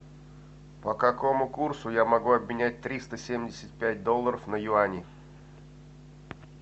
по какому курсу я могу обменять триста семьдесят пять долларов на юани